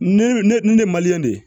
Ne ne de ye